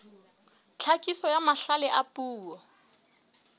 tlhakiso ya mahlale a puo